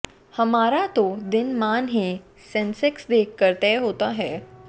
हमारा तो दिनमान ही सेंसेक्स देख कर तय होता है